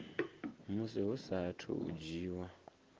musi hu saathu u dzhiwa